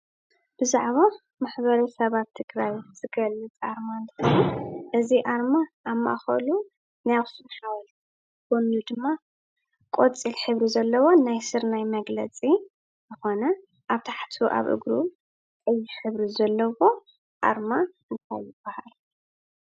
ብዛዕባ ማሕበረሰባት ትግራይ ዝገልፅ ኮይኑ እዚ ኣርማ ኣብ ማእከሉ ናይ ኣክሱም ሓወልቲ ኣበ ጎኑ ድማ ቆፂል ሕብሪ ዘለዎ ናይ ስርናይ መግለፂ ዝኾነ ኣብ ታሕቲ ኣብ እግሩ ቀይሕ ሕብሪ ዘለዎ ኣርማ እንታይ ይበሃል ?